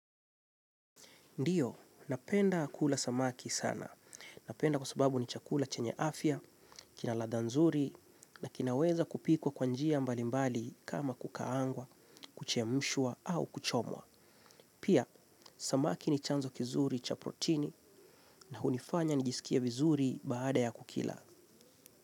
Ndiyo, napenda kula samaki sana. Napenda kwa sababu ni chakula chenye afya, kina ladha nzuri, na kinaweza kupikwa kwa njia mbalimbali kama kukaangwa, kuchemshwa, au kuchomwa. Pia, samaki ni chanzo kizuri cha protini na hunifanya nijisikie vizuri baada ya kukila.